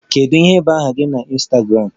Kedu ihe bụ aha gị na Ịnstagramụ?